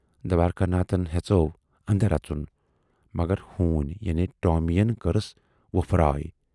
دوارِکا ناتھن ہیژٮ۪و اندر اَژُن، مگر ہون یعنی 'ٹامی'یَن کٔرٕس وۅپھراے۔